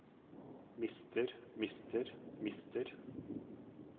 mister mister mister